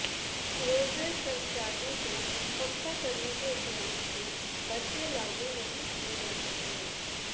roadways कर्मचारियों को पक्का करने के उपरान्त भी भत्ते लागू नहीं किये जा रहे